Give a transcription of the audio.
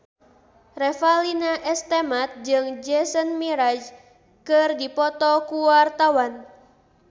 Revalina S. Temat jeung Jason Mraz keur dipoto ku wartawan